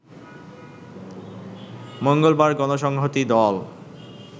মঙ্গলবার গণসংহতি দল